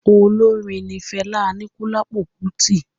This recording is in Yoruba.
Olórin ní Fela Anikulapo Kuti